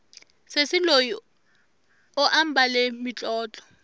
sesi loyi u ambale mitlotlo